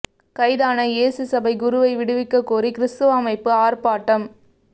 கைதான இயேசு சபை குருவை விடுவிக்க கோரி கிறிஸ்தவ அமைப்பு ஆர்ப்பாட்டம்